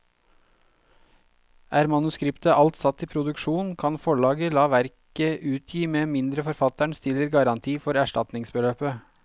Er manuskriptet alt satt i produksjon, kan forlaget la verket utgi med mindre forfatteren stiller garanti for erstatningsbeløpet.